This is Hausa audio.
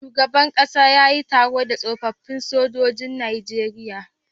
Shugaban ƙasa yayi taro da tsofafin sojojin nageria